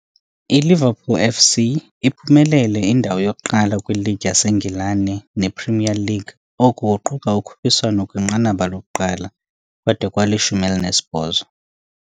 ILiverpool F.C. iphumelele indawo yokuqala kwiLeague yaseNgilane, ne-"Premier League", oku kuquka ukhuphiswano kwinqanaba lokuqala, kwade kwali-18.